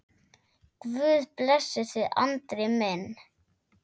Guð blessi þig, Andri minn.